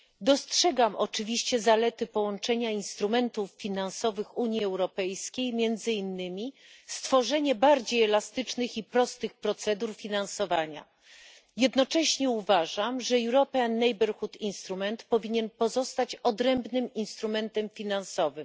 Dostrzegam oczywiście zalety połączenia instrumentów finansowych Unii Europejskiej, między innymi stworzenie bardziej elastycznych i prostych procedur finansowania. Jednocześnie uważam, że powinien pozostać odrębnym instrumentem finansowym.